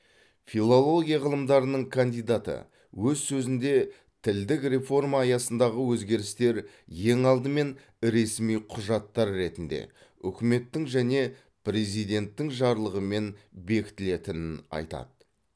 филология ғылымдарының кандидаты өз сөзінде тілдік реформа аясындағы өзгерістер ең алдымен ресми құжаттар ретінде үкіметтің және президенттің жарлығымен бекітілетінін айтады